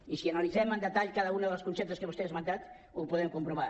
i si analitzem amb detall cada un dels conceptes que vostè ha esmentat ho podem comprovar